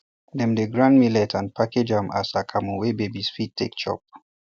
dem dey grind millet and package am as akamu wey babies fit take chop